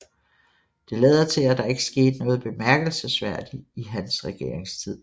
Det lader til at der ikke skete noget bemærkelsesværdigt i hans regeringstid